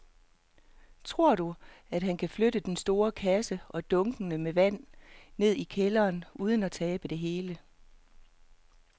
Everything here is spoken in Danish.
Tror du, at han kan flytte den store kasse og dunkene med vand ned i kælderen uden at tabe det hele?